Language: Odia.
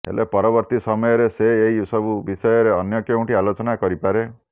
ହେଲେ ପରବର୍ତ୍ତି ସମୟରେ ସେ ଏହି ସବୁ ବିଷୟରେ ଅନ୍ୟ କେଉଁଠି ଆଲୋଚନା କରିପାରେ